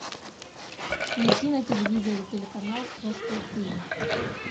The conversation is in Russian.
найти на телевизоре телеканал восток тиви